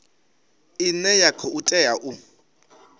ine ya khou tea u